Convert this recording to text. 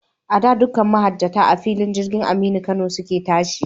A da, dukkan mahajjata, a filin jirgin Mallam Aminu Kano su ke tashi.